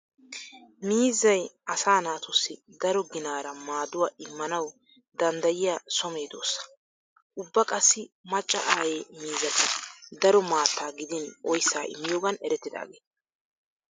Miizzay asaa naatussi daro ginaara maaduwaa immanawu danddayiyaa so meedoosa. Ubba qassi macca aaye miizzati daro maattaa gidin oyssaa immiyoogan eretidaageeta.